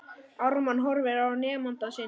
Ármann horfir á nemanda sinn.